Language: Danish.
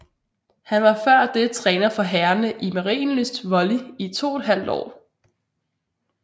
Han var før det træner for herrerne i Marienlyst Volley i toethalvt år